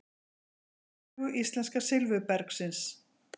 úr sögu íslenska silfurbergsins